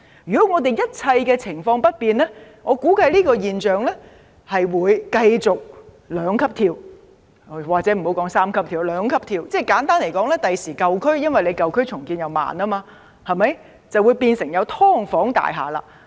如果一切情況不變，我估計這種現象會繼續兩級跳——或許不要說三級跳了——簡單而言，將來舊區因為重建緩慢，會出現"劏房"大廈。